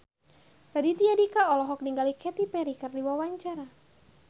Raditya Dika olohok ningali Katy Perry keur diwawancara